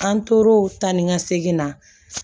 An tora o ta ni ka segin na